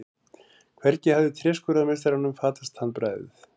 Hvergi hafði tréskurðarmeistaranum fatast handbragðið.